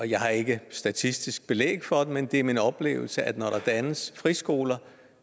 jeg har ikke statistisk belæg for den men det er min oplevelse at når der dannes friskoler